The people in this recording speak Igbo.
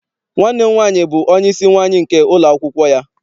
Nwanne m nwaanyị bụ onyeisi nwaanyị nke ụlọakwụkwọ ya.